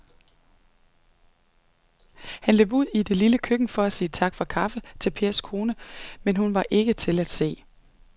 Han løb ud i det lille køkken for at sige tak for kaffe til Pers kone, men hun var ikke til at se.